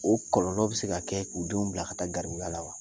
O kɔlɔlɔ bɛ se ka kɛ k'u denw bila ka taa garibuya la wa